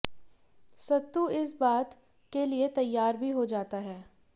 सत्तू इस बात के लिए तैयार भी हो जाता है